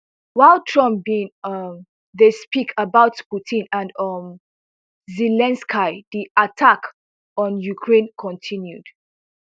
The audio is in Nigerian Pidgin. while trump bin um dey speak about putin and um zelensky di attacks on ukraine continued